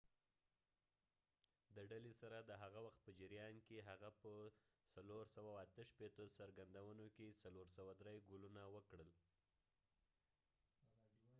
د ډلې سره د هغه وخت په جریان کې، هغه په ۴۶۸ څرګندونو کې ۴۰۳ ګولونه وکړل